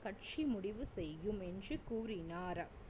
கட்சி முடிவு செய்யும் என்று கூறினார்